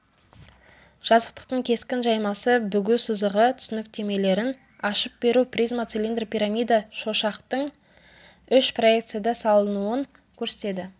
жазықтықтың кескін жаймасы бүгу сызығы түсініктемелерін ашып беру призма цилиндр пирамида шошақтың үш проекцияда салынуын көрсетеді